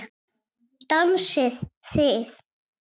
Dansið þið.